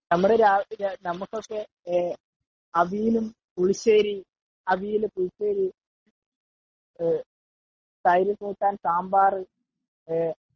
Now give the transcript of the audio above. നമുക്കൊക്കെ അവിയലും പുളിശ്ശേരി തൈര് കൂട്ടാൻ സാമ്പാറു